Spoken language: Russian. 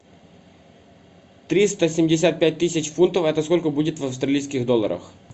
триста семьдесят пять тысяч фунтов это сколько будет в австралийских долларах